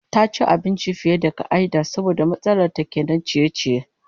Ta ci abinci fiye da ka'ida saboda matsalar ta kenan ciye-ciye